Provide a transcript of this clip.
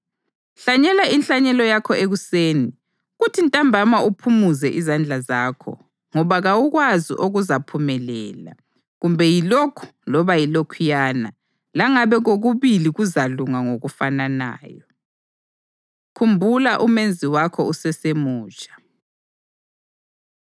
Hlanyela inhlanyelo yakho ekuseni, kuthi ntambama uphumuze izandla zakho, ngoba kawukwazi okuzaphumelela, kumbe yilokhu loba yilokhuyana, langabe kokubili kuzalunga ngokufananayo. Khumbula UMenzi Wakho UseseMutsha